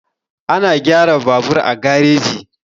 Ana gyara babur a gareji.